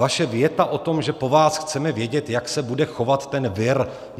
Vaše věta o tom, že po vás chceme vědět, jak se bude chovat ten vir.